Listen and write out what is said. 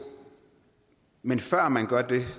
men før man gør det